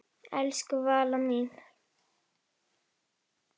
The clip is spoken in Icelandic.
Elsku Valla mín.